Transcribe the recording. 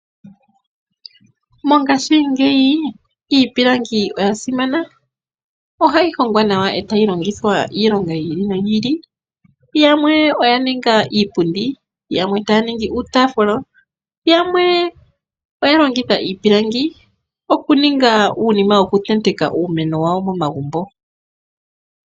Mongashingeyi iipilangi oya simana, ohayi hongwa nawa e tayi longithwa iilonga yi ili noyi ili. Yamwe oya ninga iipundi, yamwe taya ningi uutafula. Yamwe oya longitha iipilangi okuninga uunima wokutenteka uumeno wawo momagumbo.